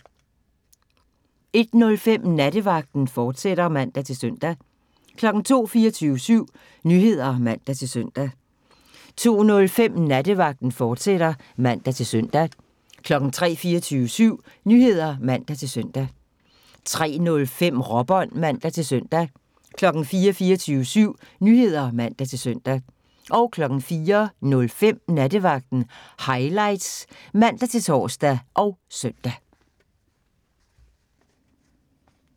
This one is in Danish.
01:05: Nattevagten, fortsat (man-søn) 02:00: 24syv Nyheder (man-søn) 02:05: Nattevagten, fortsat (man-søn) 03:00: 24syv Nyheder (man-søn) 03:05: Råbånd (man-søn) 04:00: 24syv Nyheder (man-søn) 04:05: Nattevagten Highlights (man-tor og søn)